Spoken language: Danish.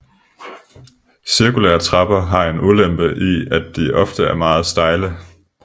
Cirkulære trapper har en ulempe i at de ofte er meget stejle